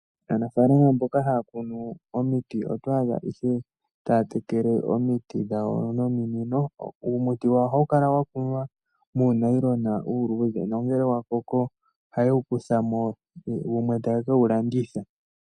Aanafalama mboka haya kunu omiiti oto adha ihe taya tekele omiiti dhawo nomiinino. Uumuti wayo ohawu kala wa kunwa muunayilona uuludhe. Nongele wa koko ohaye wu kutha mo wumwe taye kewu landitha.